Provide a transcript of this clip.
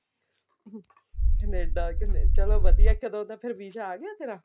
Canada ਚਲੋ ਵਧੀਆ ਕਦੋਂ ਦਾ ਫ਼ੇਰ visa ਆ ਗਿਆ ਤੇਰਾ